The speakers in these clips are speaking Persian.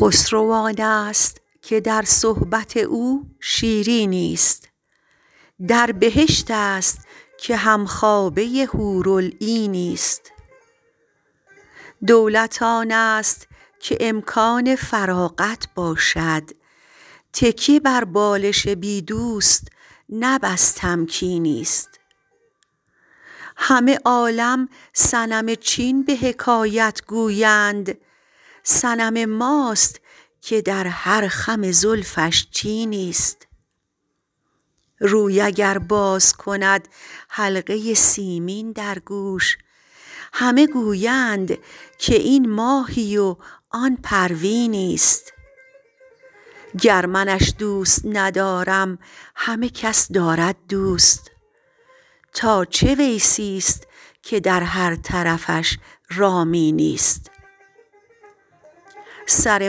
خسرو آنست که در صحبت او شیرینی ست در بهشت است که هم خوابه حورالعینی ست دولت آنست که امکان فراغت باشد تکیه بر بالش بی دوست نه بس تمکینی ست همه عالم صنم چین به حکایت گویند صنم ماست که در هر خم زلفش چینی ست روی اگر باز کند حلقه سیمین در گوش همه گویند که این ماهی و آن پروینی ست گر منش دوست ندارم همه کس دارد دوست تا چه ویسی ست که در هر طرفش رامینی ست سر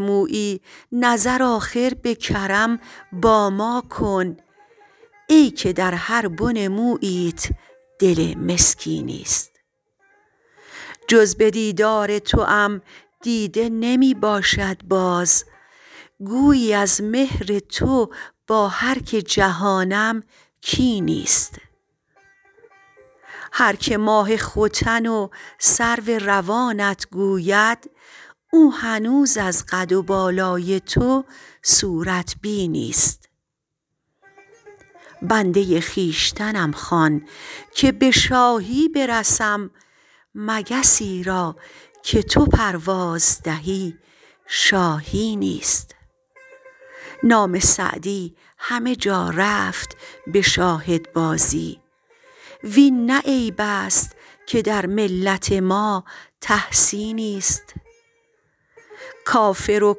مویی نظر آخر به کرم با ما کن ای که در هر بن موییت دل مسکینی ست جز به دیدار توام دیده نمی باشد باز گویی از مهر تو با هر که جهانم کینی ست هر که ماه ختن و سرو روانت گوید او هنوز از قد و بالای تو صورت بینی ست بنده خویشتنم خوان که به شاهی برسم مگسی را که تو پرواز دهی شاهینی ست نام سعدی همه جا رفت به شاهدبازی وین نه عیب است که در ملت ما تحسینی ست کافر و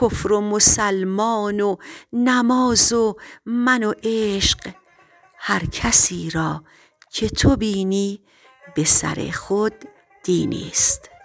کفر و مسلمان و نماز و من و عشق هر کسی را که تو بینی به سر خود دینی ست